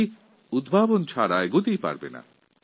কারণ নতুন উদ্ভাবন শক্তি ছাড়া বিশ্ব এগিয়ে যেতে পারে না